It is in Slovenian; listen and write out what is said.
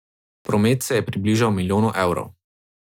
Promet se je približal milijonu evrov.